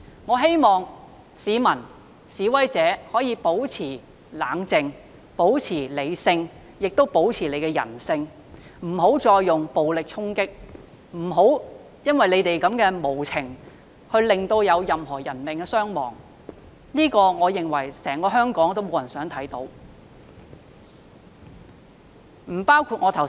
我希望市民和示威者可以保持冷靜、保持理性、保持人性，不要再用暴力衝擊，不要因為他們的無情造成任何人命傷亡，我認為香港沒有人想看到這個情況。